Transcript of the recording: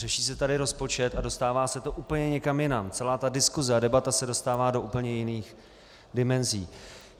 Řeší se tady rozpočet a dostává se to úplně někam jinam, celá ta diskuse a debata se dostává do úplně jiných dimenzí.